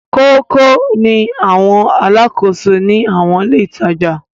Kókó ni àwọn alákòóso ní àwọn ilé-ìtajà.